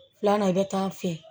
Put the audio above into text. Filanan i bɛ taa fɛ